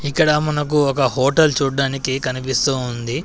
ఇక్కడ మనకు ఒక హోటల్ చూడ్డానికి కనిపిస్తూ ఉంది.